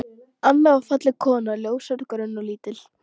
Anna var falleg kona, ljóshærð, grönn og lítil.